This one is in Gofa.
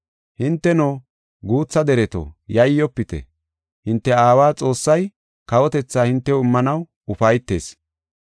“Hinteno, guutha dereto, yayyofite; hinte aawa Xoossay kawotetha hintew immanaw ufaytees.